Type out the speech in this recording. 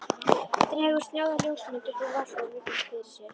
Dregur snjáða ljósmynd upp úr vasa og virðir fyrir sér.